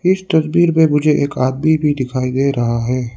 इस तस्वीर में मुझे एक आदमी भी दिखाई दे रहा है।